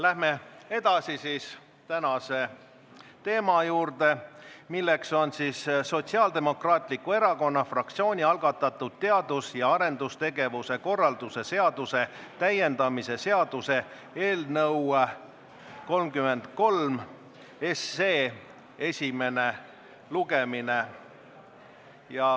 Läheme edasi tänase teema juurde, milleks on Sotsiaaldemokraatliku Erakonna fraktsiooni algatatud teadus- ja arendustegevuse korralduse seaduse täiendamise seaduse eelnõu 33 esimene lugemine.